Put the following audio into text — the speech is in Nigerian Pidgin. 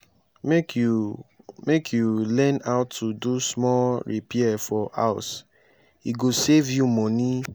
make you make you learn how to do small repair for house e go save you money.